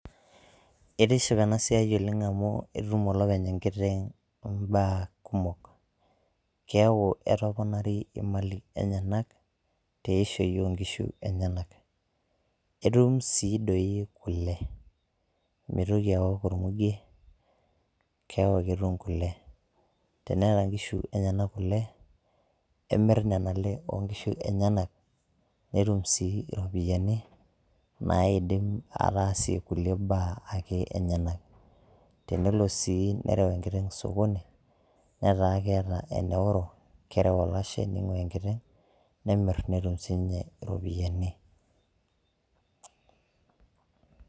etiship ena siai oleng amu etum olopeny enkiteng imbaa kumok keeku etoponari imali enyenak teishoi onkishu enyenak itum sii doi kule mitoki awok ormugie keeku ketum kule teneeta nkishu enyenak kule emirr nana ale onkishu enyenak netum sii iropiyiani naidim ataasie kulie baa ake enyenak tenelo sii nerew enkiteng sokoni netaa keeta eneoro kerew olashe ning'ua enkiteng nemirr netum sininye iropiyiani.